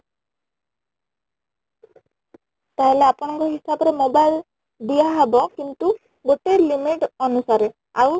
ତାହେଲେ ଆପଣ ଙ୍କ ହିସାବ ରେ mobile ଦିଆ ହବ କିନ୍ତୁ ଗୋଟେ limit ଅନୁସାରେ ଆଉ